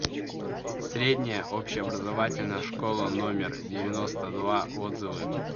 средняя общеобразовательная школа номер девяносто два отзывы